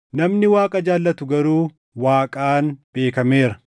Namni Waaqa jaallatu garuu Waaqaan beekameera.